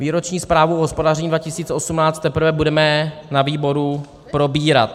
Výroční zprávu o hospodaření 2018 teprve budeme na výboru probírat.